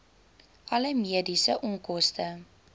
alle mediese onkoste